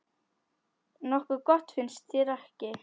Nokkuð gott, finnst þér ekki?